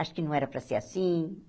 Acho que não era para ser assim.